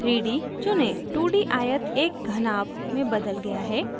2d आयत एक घनाभ में बदल गया है